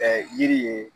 Ka yiri ye